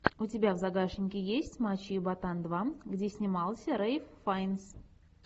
у тебя в загашнике есть мачо и ботан два где снимался рэйф файнс